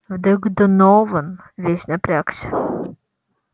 вдруг донован весь напрягся